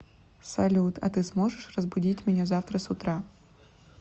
салют а ты сможешь разбудить меня завтра с утра